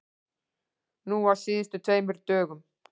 Núna á síðustu tveimur dögum.